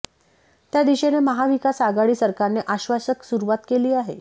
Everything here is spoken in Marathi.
त्या दिशेने महाविकास आघाडी सरकारने आश्वासक सुरुवात केली आहे